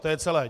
To je celé.